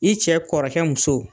I cɛ kɔrɔkɛ muso